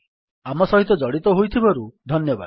ଆମ ସହିତ ଜଡ଼ିତ ହୋଇଥିବାରୁ ଧନ୍ୟବାଦ